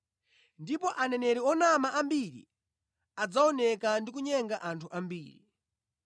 ndipo aneneri onama ambiri adzaoneka ndi kunyenga anthu ambiri.